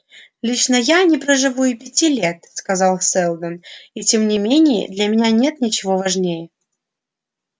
лично я не проживу и пяти лет сказал сэлдон и тем не менее для меня нет ничего важнее